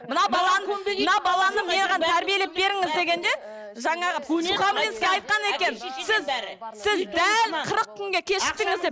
мынау баланы мынау баланы маған тәрбиелеп беріңіз дегенде жаңағы сухамлинский айтқан екен сіз сіз дәл қырық күнге кешіктіңіз деп